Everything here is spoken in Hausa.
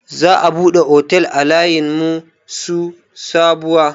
Za a buɗe otel a layin su Sabuwa.